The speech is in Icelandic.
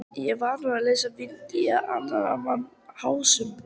Er ég vanur að leysa vind í annarra manna húsum?